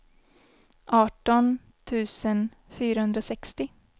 arton tusen fyrahundrasextio